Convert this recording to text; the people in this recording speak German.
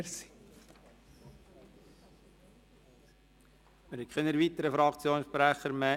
Es gibt keine weiteren Fraktionssprecher mehr.